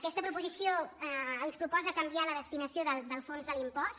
aquesta proposició ens proposa canviar la destinació del fons de l’impost